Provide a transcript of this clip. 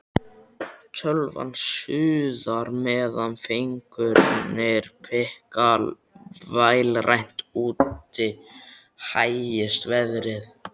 Tölvan suðar meðan fingurnir pikka vélrænt, úti hægist veðrið.